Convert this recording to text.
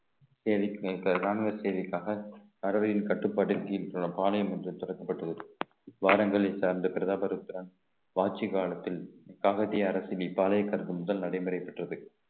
நேருக்கு நேர் ராணுவ சேவைக்காக பறவையின் கட்டுப்பாட்டிற்கு கீழ் உள்ள பாளையம் ஒன்று திறக்கப்பட்டுள்ளது வானங்களை சார்ந்த பிரதாப ருத்ரன் ஆட்சி காலத்தில் அரசினை முதல் நடைமுறை பெற்றது